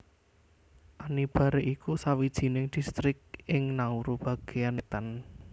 Anibare iku sawijining distrik ing Nauru bagéan wétan